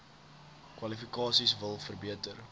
kwalifikasies wil verbeter